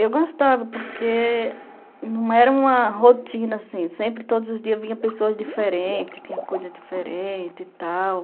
Eu gostava porque não era uma rotina assim, sempre todos os dias vinha pessoas diferentes, tinha coisa diferente e tal.